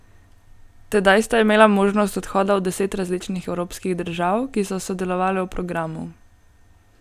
Tedaj sta imela možnost odhoda v deset različnih evropskih držav, ki so sodelovale v programu.